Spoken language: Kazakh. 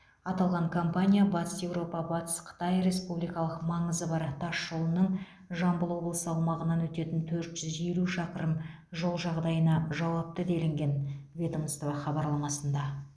аталған компания батыс еуропа батыс қытай республикалық маңызы бар тас жолының жамбыл облысы аумағынан өтетін төрт жүз елу шақырым жол жағдайына жауапты делінген ведомство хабарламасында